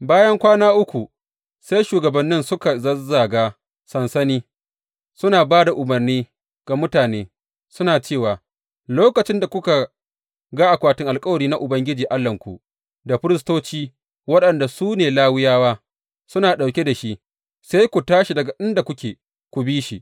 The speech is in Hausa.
Bayan kwana uku sai shugabannin suka zazzaga sansani, suna ba da umarni ga mutane, suna cewa, Lokacin da kuka ga akwatin alkawari na Ubangiji Allahnku, da firistoci waɗanda su ne Lawiyawa, suna ɗauke da shi, sai ku tashi daga inda kuke, ku bi shi.